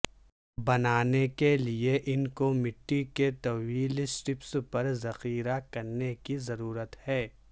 بنانے کے لئے ان کو مٹی کے طویل سٹرپس پر ذخیرہ کرنے کی ضرورت ہے